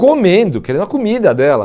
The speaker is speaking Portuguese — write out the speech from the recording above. Comendo, querendo a comida dela.